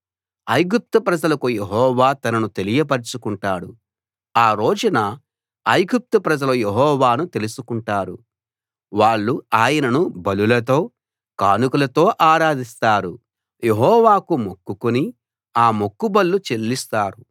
ఐగుప్తు ప్రజలకు యెహోవా తనను తెలియపరచుకుంటాడు ఆ రోజున ఐగుప్తు ప్రజలు యెహోవాను తెలుసుకుంటారు వాళ్ళు ఆయనను బలులతో కానుకలతో ఆరాధిస్తారు యెహోవాకు మొక్కుకుని ఆ మొక్కుబళ్ళు చెల్లిస్తారు